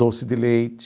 Doce de leite.